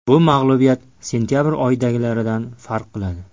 Bu mag‘lubiyat sentabr oyidagilaridan farq qiladi.